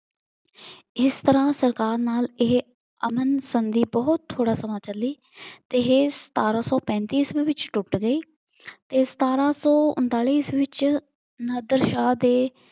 ਇਸ ਤਰ੍ਹਾਂ ਸਰਕਾਰ ਨਾਲ ਇਹ ਆਨੰਦ ਸੰਧੀ ਬਹੁਤ ਥੋੜਾ ਸਮਾਂ ਚੱਲੀ ਤੇ ਇਹ ਸਤਾਰਾਂ ਸੌ ਪੈਂਤੀ ਈਸਵੀ ਵਿੱਚ ਟੁੱਟ ਗਈ ਤੇ ਸਤਾਰਾਂ ਸੌ ਉਨਤਾਲੀ ਈਸਵੀ ਵਿੱਚ ਨਾਦਰ ਸ਼ਾਹ ਦੇ